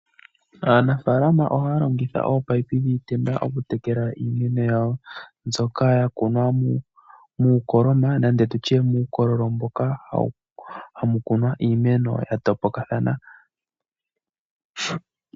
Aanafalama ohaya longitha ominino dhiitenda okutekela iimeno yawo mbyoka ya kunwa muukoloma nenge tu tye muukololo mboka hamu kunwa iimeno ya topokathana.